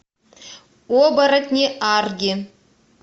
оборотни арги